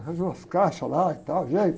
Arranjo umas caixas lá e tal, e aí.